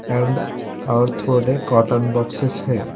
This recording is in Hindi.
और थोड़े कॉटन बॉक्सेस है।